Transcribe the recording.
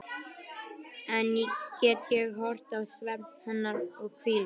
Enn get ég horft á svefn hennar og hvíld.